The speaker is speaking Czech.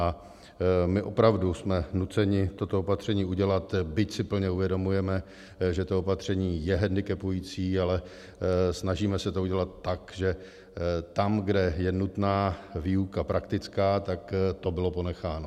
A my opravdu jsme nuceni toto opatření udělat, byť si plně uvědomujeme, že to opatření je hendikepující, ale snažíme se to udělat tak, že tam, kde je nutná výuka praktická, tak to bylo ponecháno.